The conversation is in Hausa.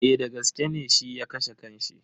Eh dagaske ne shi ya kashe kan shi.